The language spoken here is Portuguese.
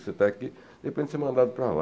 Você está aqui, depois você é mandado para lá.